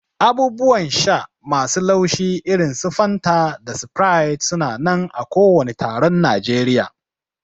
Abubuwan sha masu laushi irin su Fanta da Sprite su na nan a kowani taron Najeriya.